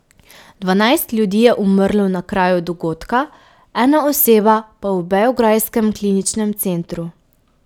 Dvanajst ljudi je umrlo na kraju dogodka, ena oseba pa v beograjskem kliničnem centru.